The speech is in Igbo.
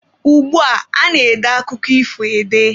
Ugbua, a na-ede akụkọ ifo ede.